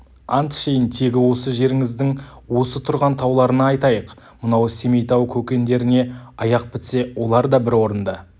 ант ішейін тегі осы жеріңіздің осы тұрған тауларына айтайық мынау семейтау көкендеріне аяқ бітсе олар да бір орында